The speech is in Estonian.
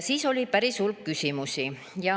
Siis oli päris hulk küsimusi.